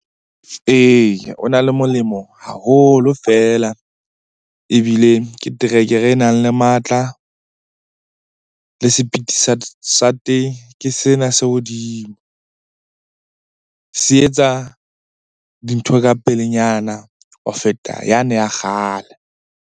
Eya, o na le molemo haholo feela ebile ke terekere e nang le matla. Le sepiti sa teng ke sena se hodimo. Se etsa dintho ka pelenyana ho feta yane ya kgale.